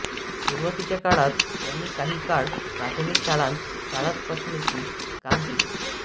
सुरुवातीच्या काळात त्यांनी काही काळ प्राथमिक शाळांत शाळातपासणीचे काम केले